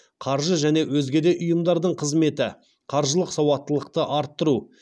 қаржы және өзге де ұйымдардың қызметі қаржылық сауаттылықты арттыру